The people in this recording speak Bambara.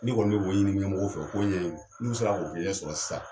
Ne kɔni bɛ k'o ɲini ɲɛmɔgɔw fɛ u k'o ɲɛɲini. n'u sera k'o sɔrɔ sisan